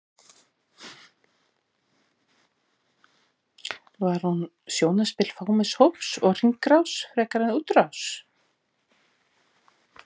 Var hún sjónarspil fámenns hóps og hringrás frekar en útrás?